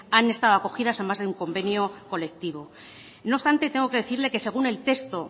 han estado acogidas a más de un convenio colectivo no obstante tengo que decirle que según el texto